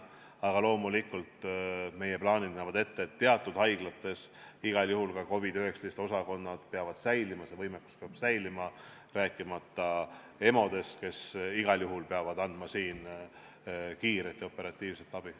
Aga loomulikult, meie plaanid näevad ette, et teatud haiglates igal juhul ka COVID-19 osakonnad peavad säilima, see võimekus peab säilima, rääkimata EMO-dest, kes igal juhul peavad andma kiiret ja operatiivset abi.